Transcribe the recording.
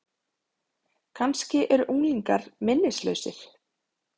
Kannski eru unglingar minnislausir?